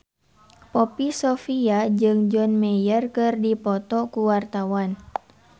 Poppy Sovia jeung John Mayer keur dipoto ku wartawan